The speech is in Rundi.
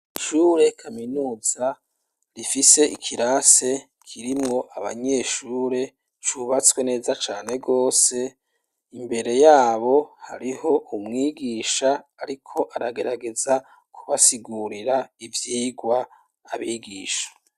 Ishure kaminuza rifise ikirasi kirimwo abanyeshure, cubatswe neza cane rwose, imbere yabo hariho umwigisha ariko aragerageza kubasigurira ivyigwa abigisha.